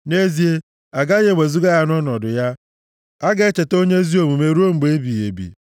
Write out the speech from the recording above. Nʼezie, agaghị ewezuga ya nʼọnọdụ ya; a ga-echeta onye ezi omume ruo mgbe ebighị ebi.